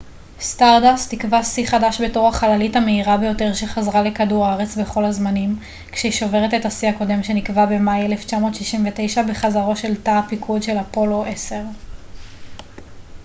סטארדאסט תקבע שיא חדש בתור החללית המהירה ביותר שחזרה לכדור הארץ בכל הזמנים כשהיא שוברת את השיא הקודם שנקבע במאי 1969 בחזרתו של תא הפיקוד של אפולו 10